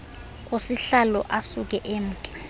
kusihlalo asuke emke